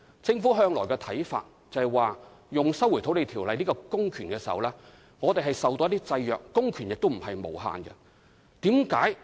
政府一直認為，行使《收回土地條例》下的公權時，須受到法律的制約，公權並非無限。